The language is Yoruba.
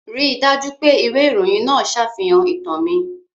Rí i dájú pé ìwé ìròyìn náà ṣàfihàn ìtàn mi.